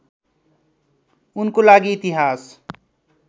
उनको लागि इतिहास